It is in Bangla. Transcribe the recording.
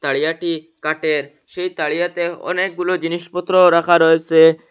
তারিয়াটি কাটের সেই তারিয়াতে অনেকগুলো জিনিসপত্র রাখা রয়েসে।